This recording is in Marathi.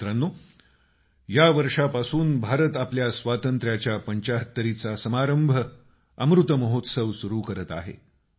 मित्रांनो यावर्षापासून भारत आपल्या स्वातंत्र्याच्या पंचाहत्तरीचा समारंभ अमृतमहोत्सव सुरू करत आहे